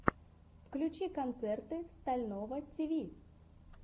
включи концерты стального тиви